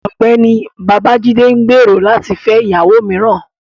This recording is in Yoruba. Ọgbẹni Babajide n gbero lati fẹ iyawo miiran